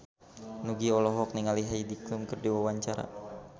Nugie olohok ningali Heidi Klum keur diwawancara